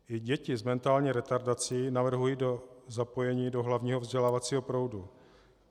I děti s mentální retardací navrhují do zapojení do hlavního vzdělávacího proudu.